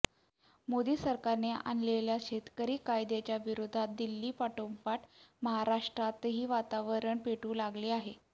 मोदी सरकारने आणलेल्या शेतकरी कायद्याच्या विरोधात दिल्लीपाठोपाठ महाराष्ट्रातही वातावरण पेटू लागले आहे